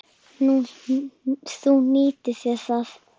Þú nýttir þér það.